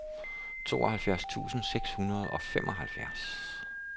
tooghalvfjerds tusind seks hundrede og femoghalvfems